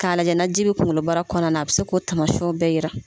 K'a lajɛ na ji be kunkolobara kɔnɔna na a be se k'o taamasiɲɛw bɛɛ yira.